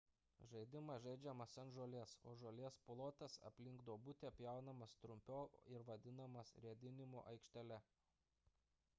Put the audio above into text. žaidimas žaidžiamas ant žolės o žolės plotas aplink duobutę pjaunamas trumpiau ir vadinamas ridenimo aikštele